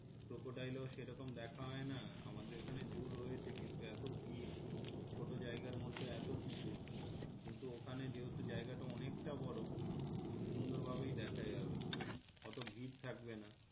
crocodile ও সেরকম দেখা হয়না আমাদের এখানে zoo রয়েছে কিন্তু এত ভির ছোটো জায়গার মধ্যে এত কিছু কিন্তু ওখানে যেহেতু জায়গাটা অনেকটা বড় খুব সুন্দর ভাবেই দেখা যাবে অত ভির থাকবেনা